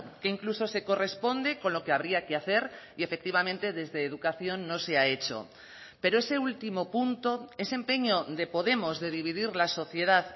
que incluso se corresponde con lo que habría que hacer y efectivamente desde educación no se ha hecho pero ese último punto ese empeño de podemos de dividir la sociedad